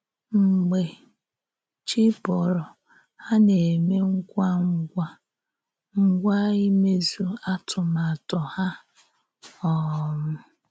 Mgbe chī bòrò, hà na-émè ngwá ngwá ngwá ímèzù àtúmàtọ̀ hà. um